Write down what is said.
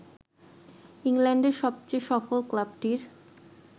ইংল্যান্ডের সবচেয়ে সফল ক্লাবটির